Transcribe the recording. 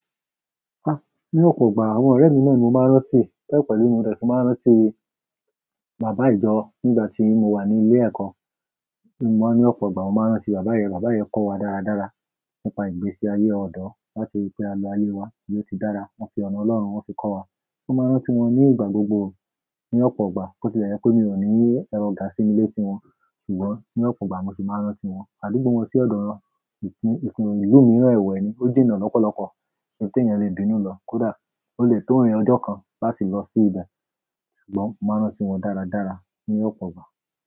Ah! Ní ọ̀pọ̀ ìgbà, àwọn ọ̀rẹ́ mi náà ni mo máa ń rántí, bẹ pẹ̀lú mo dẹ fi máa ń rántí bàbá ìjọ nígbà tí mo wà ní ilé ẹ̀kọ́. Mo máa ń ní ọ̀pọ̀ ìgbà mo máa ń rántí bàbá yẹn, bàbá ìjọ kọ́ wa dáradára nípa ìgbésí ayé ọ̀dọ́ láti rí i pé a lo ayé wa ní ó ti dára. Wọ́n fi ọ̀nà Ọlọ́run wọ́n fi kọ́ wa. Mo máa ń rántí wọn ní ìgbà gbogbo ní ọ̀pọ̀ ìgbà. Botilẹ̀ yẹ pe mi ò ní ẹrọ̀ gà sí ni lé tí wọn, ṣùgbọ́n ní ọ̀pọ̀ ìgbà mo sì máa ń rántí wọn. Àdúgbò wọn sì ọ̀dọ̀ rọn. Ìpín ìlú mìíràn ẹwẹ̀ ni ó jìnnà lọ́pọ̀lọpọ̀. Ṣé tí èèyàn le bìnú lọ kódà ó lè tó rin ọjọ́ kan láti lọ sí ibẹ̀. Ṣùgbọ́n mo máa ń rántí wọn dáradára ní ọ̀pọ̀ ìgbà.